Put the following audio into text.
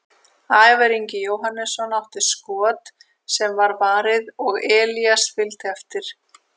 Ævar Ingi Jóhannesson átti skot sem var varið og Elías fylgdi eftir.